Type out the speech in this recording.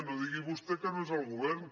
no digui vostè que no és el govern